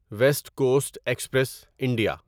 waste Coast Express India